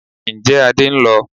Ǹjẹ́ Adé ń lọ?